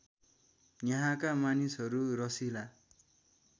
यहाँका मानिसहरू रसिला